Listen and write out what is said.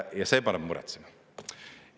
Ja see paneb muretsema.